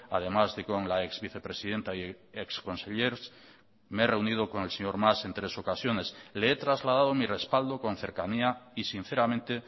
además de con la exvicepresidenta y exconsellers me he reunido con el señor mas en tres ocasiones le he trasladado mi respaldo con cercanía y sinceramente